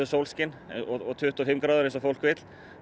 sólskin og tuttugu og fimm gráður eins og fólk vill